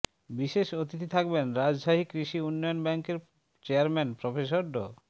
বিশেষ অতিথি থাকবেন রাজশাহী কৃষি উন্নয়ন ব্যাংকের চেয়ারম্যান প্রফেসর ড